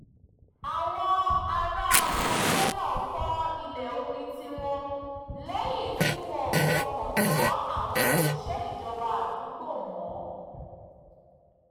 àwọn ará abúlé náà kọ́ ilé omi tiwọn lẹ́yìn tí wọn ò fọkàn tán àwọn òṣìṣẹ́ ìjọba àdúgbò mọ́